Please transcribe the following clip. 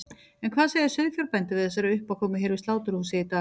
En hvað segja sauðfjárbændur við þessari uppákomu hér við sláturhúsið í dag?